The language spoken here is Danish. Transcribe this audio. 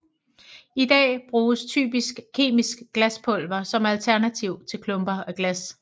I dag bruges typisk kemisk glaspulver som alternativ til klumper af glas